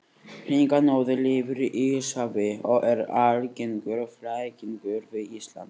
Hringanóri lifir í Íshafi og er algengur flækingur við Ísland.